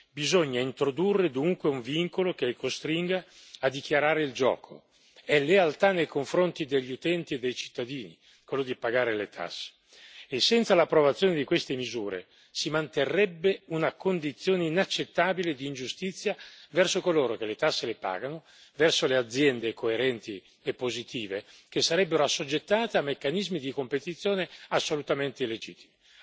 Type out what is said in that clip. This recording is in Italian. Bisogna introdurre dunque un vincolo che le costringa a dichiarare il gioco è lealtà nei confronti degli utenti e dei cittadini quello di pagare le tasse e senza l'approvazione di queste misure, si manterrebbe una condizione inaccettabile di ingiustizia verso coloro che le tasse le pagano, verso le aziende coerenti e positive che sarebbero assoggettate a meccanismi di competizione assolutamente illegittimi.